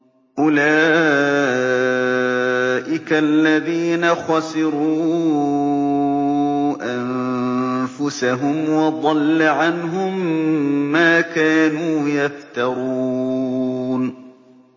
أُولَٰئِكَ الَّذِينَ خَسِرُوا أَنفُسَهُمْ وَضَلَّ عَنْهُم مَّا كَانُوا يَفْتَرُونَ